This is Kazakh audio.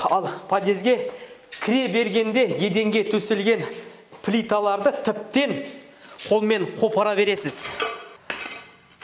ал подъезге кіре бергенде еденге төселген плиталарды тіптен қолмен қопара бересіз